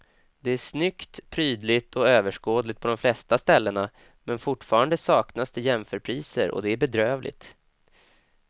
Det är snyggt, prydligt och överskådligt på de flesta ställena men fortfarande saknas det ofta jämförpriser och det är bedrövligt.